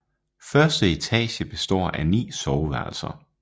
Første etage består af ni soveværelser